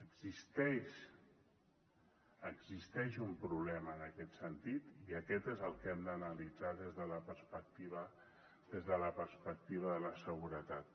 existeix existeix un problema en aquest sentit i aquest és el que hem d’analitzar des de la perspectiva de la seguretat